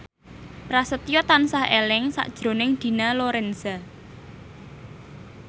Prasetyo tansah eling sakjroning Dina Lorenza